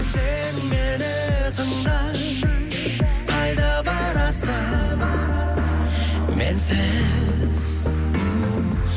сен мені тыңда қайда барасың менсіз